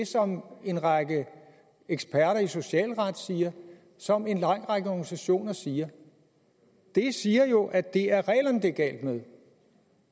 som en række eksperter i socialret siger og som en lang række organisationer siger det siger jo at det er reglerne det er galt med